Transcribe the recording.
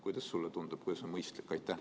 Kuidas sulle tundub, kuidas on mõistlik?